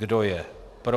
Kdo je pro.